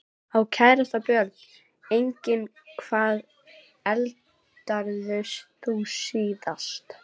Á kærasta Börn: Engin Hvað eldaðir þú síðast?